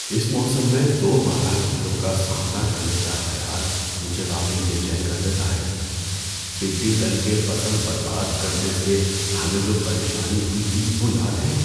اس موسم میں دوبارہ کیڑوں کا سامنا کرنے کا خیال مجھے واقعی بے چین کر دیتا ہے۔ ٹڈی دل کے فصل برباد کرنے سے ہمیں جو پریشانی ہوئی تھی وہ یاد ہے؟